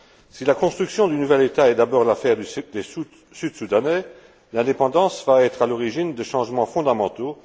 Si la construction du nouvel État est d'abord l'affaire des Sud Soudanais, l'indépendance va être à l'origine de changements fondamentaux.